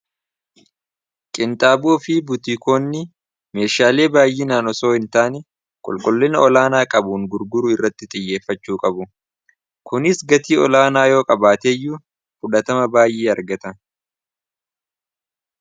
Qinxaaboo fi butiikoonni meeshaalee baay'inaan osoo hin taane qulqullina olaanaa qabuun gurguruu irratti xiyyeeffachuu qabu . kunis gatii olaanaa yoo qabaateeyyuu fudhatama baay'ee argata.